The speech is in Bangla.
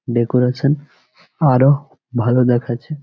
ডেকোরেশন আরও ভালো দেখাচ্ছে।